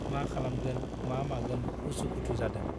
मा खालामगोन , मा मागोन उसु - खुथु जादों ।